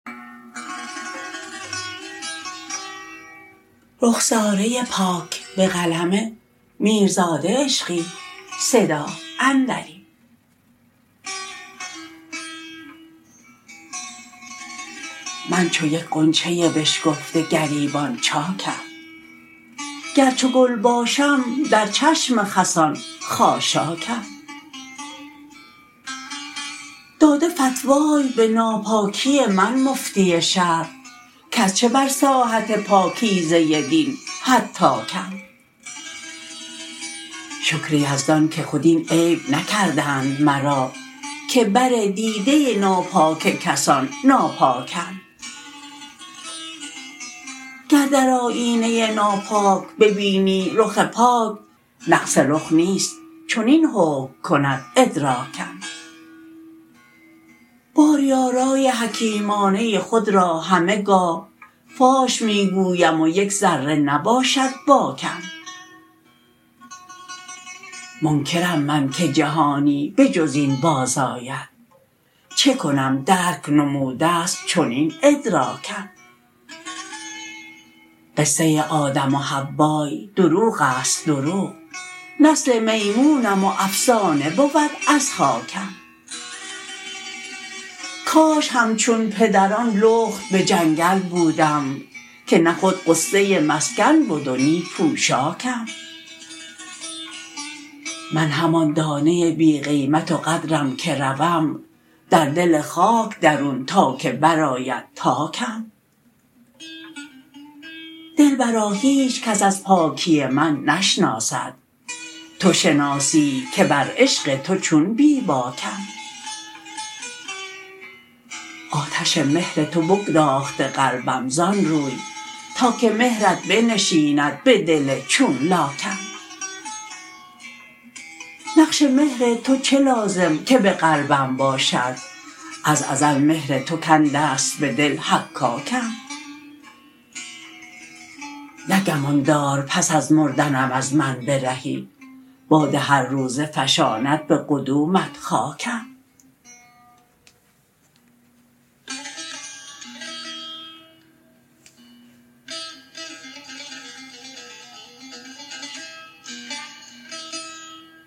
من چو یک غنچه بشکفته گریبان چاکم گر چو گل باشم در چشم خسان خاشاکم داده فتوای به ناپاکی من مفتی شهر کز چه بر ساحت پاکیزه دین هتاکم شکر یزدان که خود این عیب نکردند مرا که بر دیده ناپاک کسان ناپاکم گر در آیینه ناپاک ببینی رخ پاک نقص رخ نیست چنین حکم کند ادراکم باری آرای حکیمانه خود را همه گاه فاش می گویم و یک ذره نباشد باکم منکرم من که جهانی به جز این بازآید چه کنم درک نموده است چنین ادراکم قصه آدم و حوای دروغ است دروغ نسل میمونم و افسانه بود از خاکم کاش همچون پدران لخت به جنگل بودم که نه خود غصه مسکن بد و نی پوشاکم من همان دانه بی قیمت و قدرم که روم در دل خاک درون تا که بر آید تاکم دلبرا هیچ کس از پاکی من نشناسد توشناسی که بر عشق تو چون بی باکم آتش مهر تو بگداخته قلبم زآن روی تا که مهرت بنشیند به دل چون لاکم نقش مهر تو چه لازم که به قلبم باشد از ازل مهر تو کنده است به دل حکاکم نه گمان دار پس از مردنم از من برهی باد هر روزه فشاند به قدومت خاکم